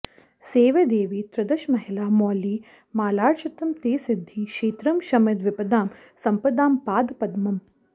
सेवे देवि त्रिदश महिला मौलि मालार्चितं ते सिद्धि क्षेत्रं शमित विपदां सम्पदां पाद पद्मम्